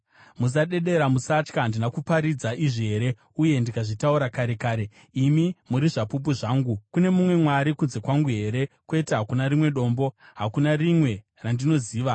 Musadedera, musatya. Handina kuparidza izvi here uye ndikazvitaura kare kare? Imi muri zvapupu zvangu. Kune mumwe Mwari kunze kwangu here? Kwete, hakuna rimwe Dombo; hakuna rimwe randinoziva.”